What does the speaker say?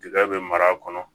Tigɛ bɛ mara a kɔnɔ